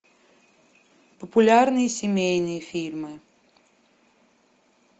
популярные семейные фильмы